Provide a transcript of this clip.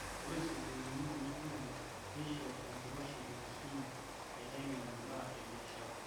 Ore sukuulini kuna olongi neisho enkiroshi enkisuma naiteng'en imbaa e biashara